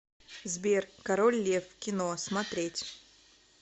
сбер король лев кино смотреть